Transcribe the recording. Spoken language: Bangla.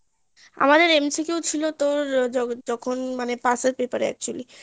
আমাদের MCQ ছিল তোর যখন মানে pass এর paper এ actually